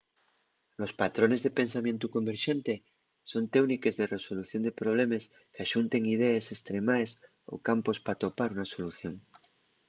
los patrones de pensamientu converxente son téuniques de resolución de problemes qu’axunten idees estremaes o campos p’atopar una solución